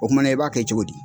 kumana i b'a kɛ cogo di?